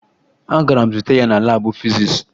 Agara m zute ya na laabụ fizis